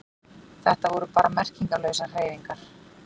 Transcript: Þetta voru bara merkingarlausar hreyfingar.